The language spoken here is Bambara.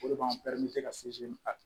O de b'an